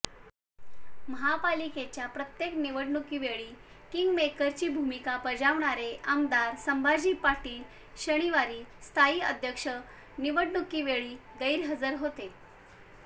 महापालिकेच्या प्रत्येक निवडणुकीवेळी किंगमेकरची भूमिका बजावणारे आमदार संभाजी पाटील शनिवारी स्थायी अध्यक्ष निवडणुकीवेळी गैरहजर होते